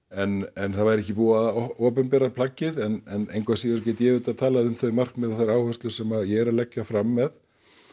en það væri ekki búið að opinbera plaggið en engu að síður get ég auðvitað talað um þau markmið og þær áherslur sem ég er að leggja fram með